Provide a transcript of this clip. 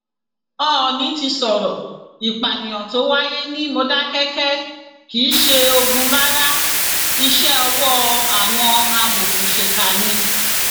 oòní ti sọrọ ìpànìyàn tó wáyé ní módékáke kì í ṣe ogun rárá iṣẹ ọwọ àwọn amòòkùnsìkà ni